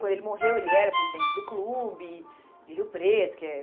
Quando ele morreu, ele era presidente do clube de Rio Preto, que é